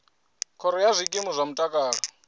khoro ya zwikimu zwa mutakalo